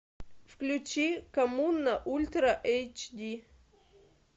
включи коммуна ультра эйч ди